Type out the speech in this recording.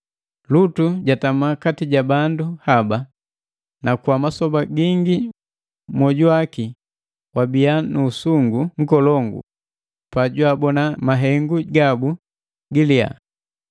Lutu jatama kati ja bandu haba, na kwa masoba gingi mwoju waki wabiya nu usungu nkolongu pa jwabona mahengu gabu giliya.